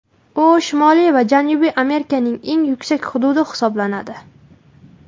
U Shimoliy va Janubiy Amerikaning eng yuksak hududi hisoblanadi.